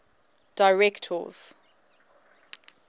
directors